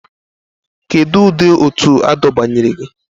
Kedu ụdị òtù adọbanyere gị?